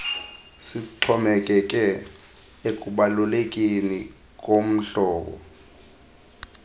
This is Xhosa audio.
sixhomekeke ekubalulekeni kohlobo